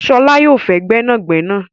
Ṣọlá yóò fé gbẹ́nàgbẹ́nà